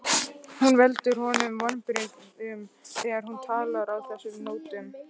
Hún veldur honum vonbrigðum þegar hún talar á þessum nótum.